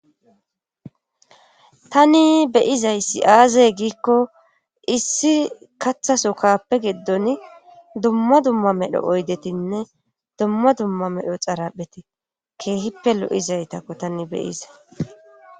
tani beyizayssi aazey giikko issi kathaso kkappe geddon dumma dumma medho oydetinne dumma dumma medho xaraphete keehippe lo7izaytakko tani beyizay